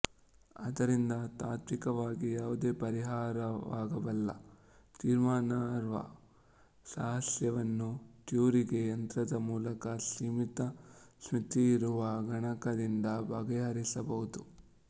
ಆದ್ದರಿಂದ ತಾತ್ವಿಕವಾಗಿ ಯಾವುದೇ ಪರಿಹಾರವಾಗಬಲ್ಲ ತೀರ್ಮಾನಾರ್ಹ ಸಹಸ್ಯೆಯನ್ನು ಟ್ಯೂರಿಂಗ್ ಯಂತ್ರದ ಮೂಲಕ ಸೀಮಿತ ಸ್ಮೃತಿಯಿರುವ ಗಣಕದಿಂದ ಬಗೆಹರಿಸಬಹುದು